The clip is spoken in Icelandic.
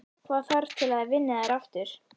Hvað þarf til að þið vinnið þær aftur?